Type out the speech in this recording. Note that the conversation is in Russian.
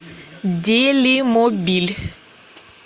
делимобиль